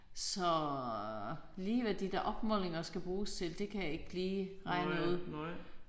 Så lige hvad de der opmålinger skal bruges til det kan jeg ikke lige regne ud